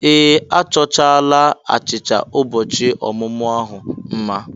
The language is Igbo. Ee! A chọchaala achịcha ụbọchị ọmụmụ ahụ mma.